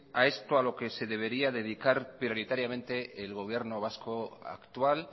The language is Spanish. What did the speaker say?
a esto a lo que se debería dedicar prioritariamente el gobierno vasco actual